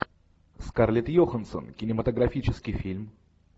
скарлетт йоханссон кинематографический фильм